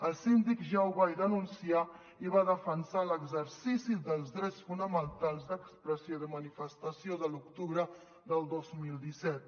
el síndic ja ho va denunciar i va defensar l’exercici dels drets fonamentals d’expressió i de manifestació de l’octubre del dos mil disset